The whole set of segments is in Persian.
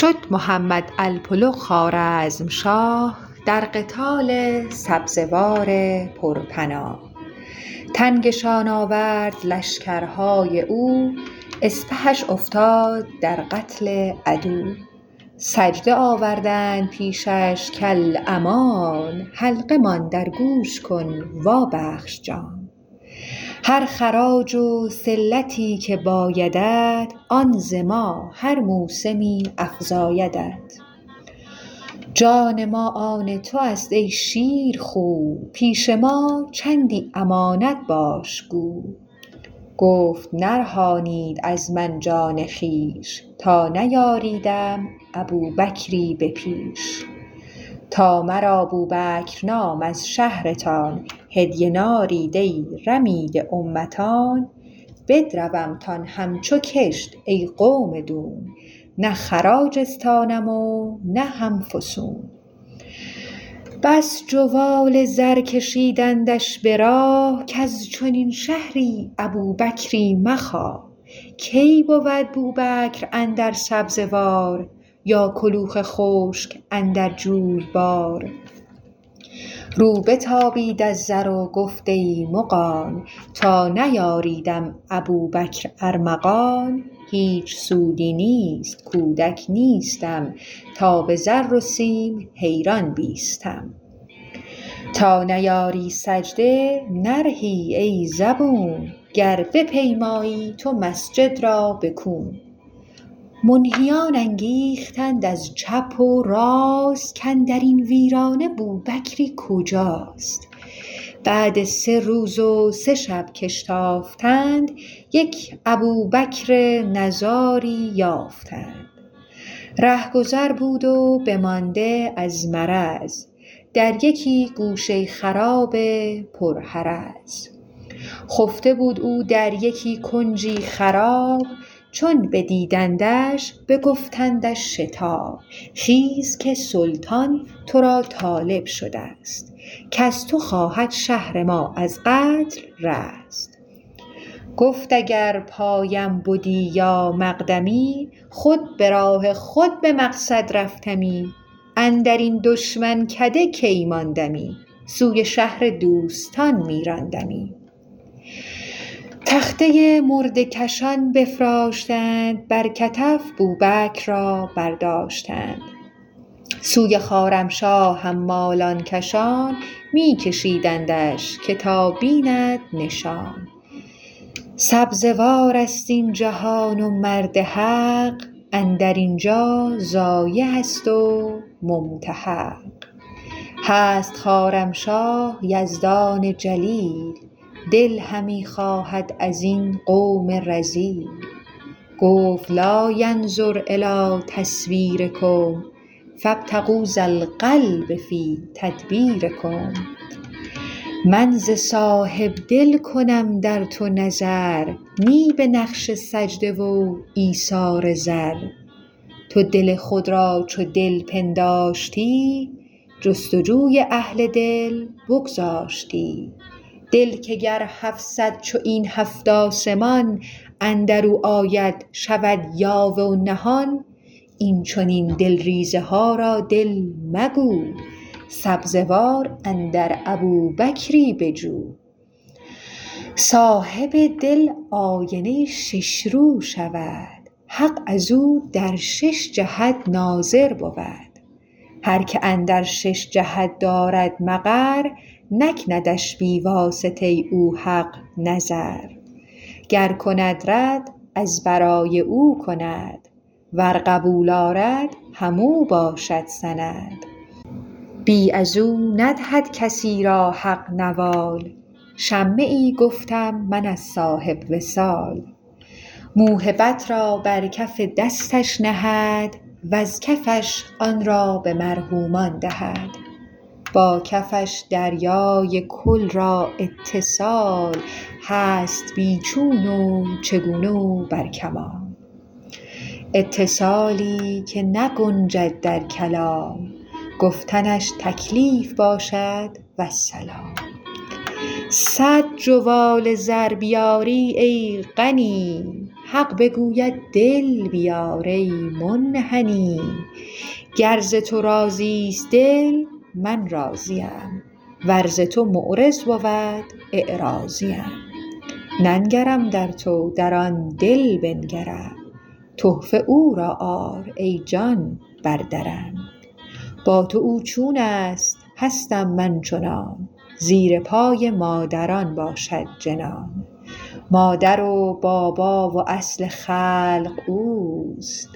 شد محمد الپ الغ خوارزمشاه در قتال سبزوار پر پناه تنگشان آورد لشکرهای او اسپهش افتاد در قتل عدو سجده آوردند پیشش کالامان حلقه مان در گوش کن وا بخش جان هر خراج و صلتی که بایدت آن ز ما هر موسمی افزایدت جان ما آن توست ای شیرخو پیش ما چندی امانت باش گو گفت نرهانید از من جان خویش تا نیاریدم ابوبکری به پیش تا مرا بوبکر نام از شهرتان هدیه نارید ای رمیده امتان بدرومتان هم چو کشت ای قوم دون نه خراج استانم و نه هم فسون بس جوال زر کشیدندش به راه کز چنین شهری ابوبکری مخواه کی بود بوبکر اندر سبزوار یا کلوخ خشک اندر جویبار رو بتابید از زر و گفت ای مغان تا نیاریدم ابوبکر ارمغان هیچ سودی نیست کودک نیستم تا به زر و سیم حیران بیستم تا نیاری سجده نرهی ای زبون گر بپیمایی تو مسجد را به کون منهیان انگیختند از چپ و راست که اندرین ویرانه بوبکری کجاست بعد سه روز و سه شب که اشتافتند یک ابوبکری نزاری یافتند ره گذر بود و بمانده از مرض در یکی گوشه خرابه پر حرض خفته بود او در یکی کنجی خراب چون بدیدندش بگفتندش شتاب خیز که سلطان ترا طالب شدست کز تو خواهد شهر ما از قتل رست گفت اگر پایم بدی یا مقدمی خود به راه خود به مقصد رفتمی اندرین دشمن کده کی ماندمی سوی شهر دوستان می راندمی تخته مرده کشان بفراشتند وان ابوبکر مرا برداشتند سوی خوارمشاه حمالان کشان می کشیدندش که تا بیند نشان سبزوارست این جهان و مرد حق اندرین جا ضایعست و ممتحق هست خوارمشاه یزدان جلیل دل همی خواهد ازین قوم رذیل گفت لا ینظر الی تصویرکم فابتغوا ذا القلب فی تدبیر کم من ز صاحب دل کنم در تو نظر نه به نقش سجده و ایثار زر تو دل خود را چو دل پنداشتی جست و جوی اهل دل بگذاشتی دل که گر هفصد چو این هفت آسمان اندرو آید شود یاوه و نهان این چنین دل ریزه ها را دل مگو سبزوار اندر ابوبکری بجو صاحب دل آینه شش رو شود حق ازو در شش جهت ناظر بود هر که اندر شش جهت دارد مقر نکندش بی واسطه او حق نظر گر کند رد از برای او کند ور قبول آرد همو باشد سند بی ازو ندهد کسی را حق نوال شمه ای گفتم من از صاحب وصال موهبت را بر کف دستش نهد وز کفش آن را به مرحومان دهد با کفش دریای کل را اتصال هست بی چون و چگونه و بر کمال اتصالی که نگنجد در کلام گفتنش تکلیف باشد والسلام صد جوال زر بیاری ای غنی حق بگوید دل بیار ای منحنی گر ز تو راضیست دل من راضیم ور ز تو معرض بود اعراضیم ننگرم در تو در آن دل بنگرم تحفه او را آر ای جان بر درم با تو او چونست هستم من چنان زیر پای مادران باشد جنان مادر و بابا و اصل خلق اوست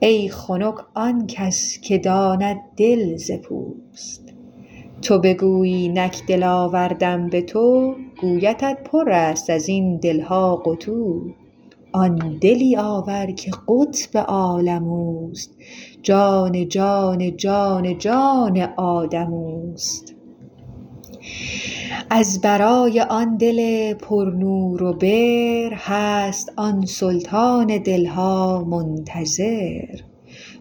ای خنک آنکس که داند دل ز پوست تو بگویی نک دل آوردم به تو گویدت پرست ازین دلها قتو آن دلی آور که قطب عالم اوست جان جان جان جان آدم اوست از برای آن دل پر نور و بر هست آن سلطان دلها منتظر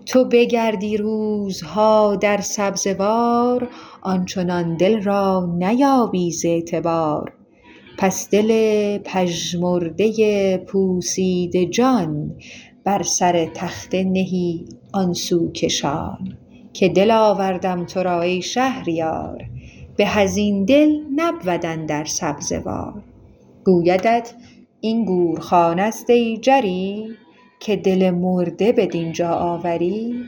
تو بگردی روزها در سبزوار آنچنان دل را نیابی ز اعتبار پس دل پژمرده پوسیده جان بر سر تخته نهی آن سو کشان که دل آوردم ترا ای شهریار به ازین دل نبود اندر سبزوار گویدت این گورخانه ست ای جری که دل مرده بدینجا آوری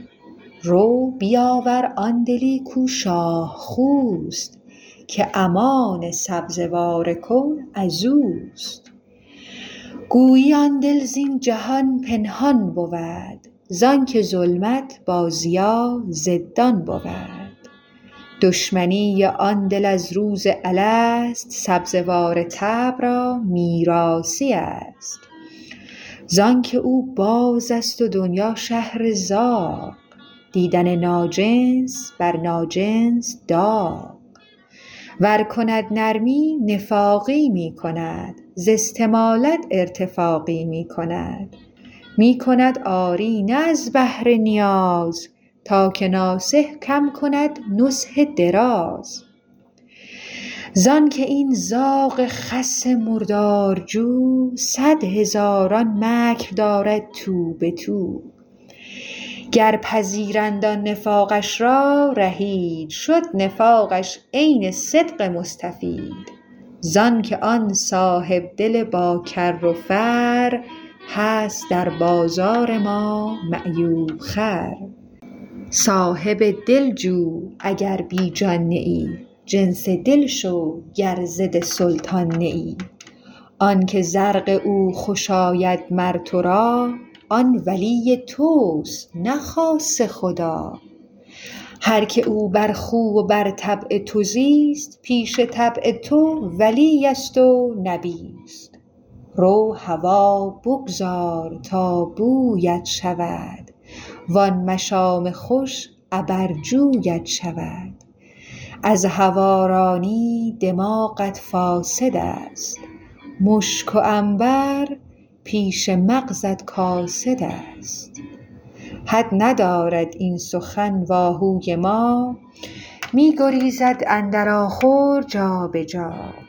رو بیاور آن دلی کو شاه خوست که امان سبزوار کون ازوست گویی آن دل زین جهان پنهان بود زانک ظلمت با ضیا ضدان بود دشمنی آن دل از روز الست سبزوار طبع را میراثی است زانک او بازست و دنیا شهر زاغ دیدن ناجنس بر ناجنس داغ ور کند نرمی نفاقی می کند ز استمالت ارتفاقی می کند می کند آری نه از بهر نیاز تا که ناصح کم کند نصح دراز زانک این زاغ خس مردارجو صد هزاران مکر دارد تو به تو گر پذیرند آن نفاقش را رهید شد نفاقش عین صدق مستفید زانک آن صاحب دل با کر و فر هست در بازار ما معیوب خر صاحب دل جو اگر بی جان نه ای جنس دل شو گر ضد سلطان نه ای آنک زرق او خوش آید مر ترا آن ولی تست نه خاص خدا هر که او بر خو و بر طبع تو زیست پیش طبع تو ولی است و نبیست رو هوا بگذار تا بویت شود وان مشام خوش عبرجویت شود از هوارانی دماغت فاسدست مشک و عنبر پیش مغزت کاسدست حد ندارد این سخن و آهوی ما می گریزد اندر آخر جابجا